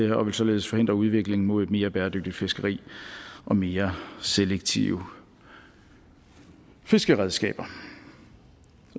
vil således forhindre udviklingen mod et mere bæredygtigt fiskeri og mere selektive fiskeredskaber